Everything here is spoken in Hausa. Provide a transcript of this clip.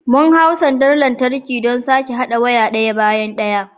Mun hau sandar lantarki don sake haɗa waya ɗaya bayan ɗaya.